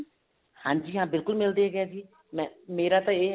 ਹਾਂਜੀ ਹਾਂ ਬਿਲਕੁਲ ਮਿਲਦੇ ਹਾਂ ਅਸੀਂ ਮੇਰਾ ਤਾਂ